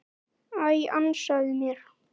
Æ, ansaðu mér.